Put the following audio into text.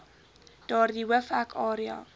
daardie hoofhek area